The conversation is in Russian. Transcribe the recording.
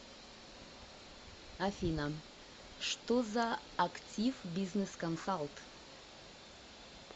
афина что за активбизнесконсалт